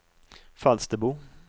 Falsterbo